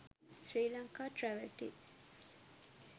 sri lanka travel tips